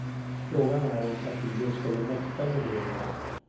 Frågan är om partiet skulle mäkta med det igen.